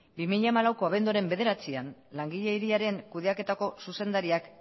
bi mila hamalaueko abenduaren bederatzian langileriaren kudeaketako zuzendariak